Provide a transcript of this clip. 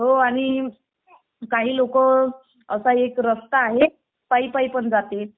हो आणि काही लोक आता एक रास्ता आहे पायी पायी पण जाते